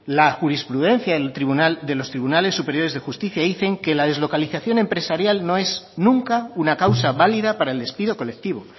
la jurisprudencia de los tribunales superiores de justicia dicen que la deslocalización empresarial no es nunca una causa válida para el despido colectivo